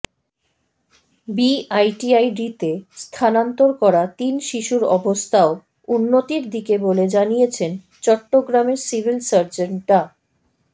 বিআইটিআইডিতে স্থানান্তর করা তিন শিশুর অবস্থাও উন্নতির দিকে বলে জানিয়েছেন চট্টগ্রামের সিভিল সার্জন ডা